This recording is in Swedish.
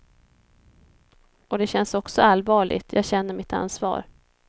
Och det känns också allvarligt, jag känner mitt ansvar.